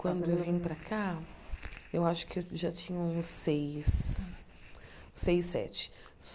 Quando eu vim para cá, eu acho que já tinha uns seis, seis, sete.